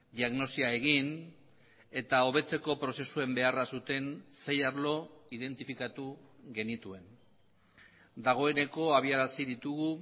diagnosia egin eta hobetzeko prozesuen beharra zuten sei arlo identifikatu genituen dagoeneko abiarazi ditugu